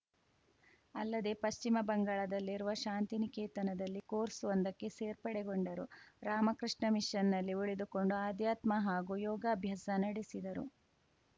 ಅಲ್ಲದೇ ಪಶ್ಚಿಮ ಬಂಗಾಳದಲ್ಲಿರುವ ಶಾಂತಿನಿಕೇತನದಲ್ಲಿ ಕೋರ್ಸ್‌ವೊಂದಕ್ಕೆ ಸೇರ್ಪಡೆಗೊಂಡರು ರಾಮಕೃಷ್ಣ ಮಿಷನ್‌ನಲ್ಲಿ ಉಳಿದುಕೊಂಡು ಆಧ್ಯಾತ್ಮ ಹಾಗೂ ಯೋಗಾಭ್ಯಾಸ ನಡೆಸಿದರು